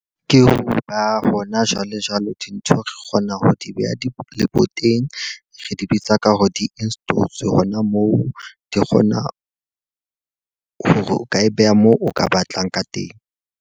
Ke ho ba hona jwale jwalo dintho re kgona ho di beha leboteng. Re di bitsa ka hore di-install-etswe hona moo. Di kgona hore o ka e beha moo o ka batlang ka teng.